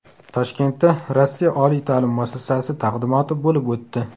Toshkentda Rossiya oliy ta’lim muassasasi taqdimoti bo‘lib o‘tdi.